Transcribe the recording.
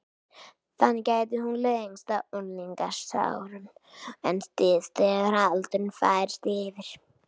Þannig gæti hún lengst á unglingsárum en styst þegar aldurinn færist yfir.